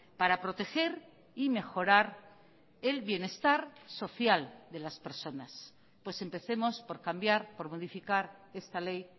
para proteger y mejorar el bienestar social de las personas pues empecemos por cambiar por modificar esta ley